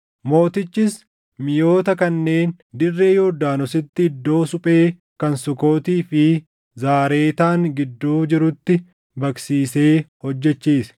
Mootichis miʼoota kanneen dirree Yordaanositti iddoo suphee kan Sukootii fi Zaaretaan gidduu jirutti baqsiisee hojjechiise.